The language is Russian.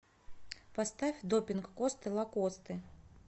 поставь допинг косты лакосты